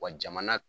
Wa jamana